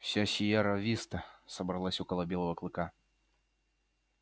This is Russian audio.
вся сиерра виста собралась около белого клыка